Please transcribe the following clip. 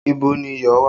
Ibo ni iyọ̀ wà?